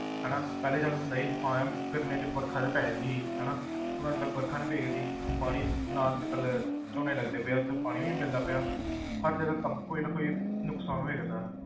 ਹਨਾ ਪਹਿਲੇ ਜਦ ਹੁੰਦਾ ਸੀ ਹਾਂ ਯਾਰ ਗਰਮੀਆਂ 'ਚ ਵਰਖਾ ਤਾਂ ਪੈ ਜਾਂਦੀ ਸੀ ਹਨਾ ਹੁਣ ਅੱਜ ਕੱਲ੍ਹ ਵਰਖਾ ਨੀ ਪਇਆ ਕਰਦੀ ਪਾਣੀ ਨਾ ਅੱਜ ਕੱਲ੍ਹ ਝੋਨੇ ਲੱਗਦੇ ਪਏ ਆ ਉੱਥੇ ਪਾਣੀ ਵੀ ਨੀ ਮਿਲਦਾ ਪਿਆ ਹਰ ਜਗ੍ਹਾ ਕੰਮ ਕੋਈ ਨਾ ਕੋਈ ਨੁਕਸਾਨ ਹੋਇਆ ਕਰਦਾ।